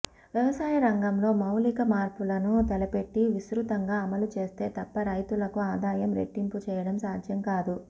వ్యవసాయ రంగంలో మౌలిక మార్పులను తలపెట్టి విస్తృతంగా అమలు చేస్తే తప్ప రైతులకు ఆదాయం రెట్టింపు చేయడం సాధ్యం కాదు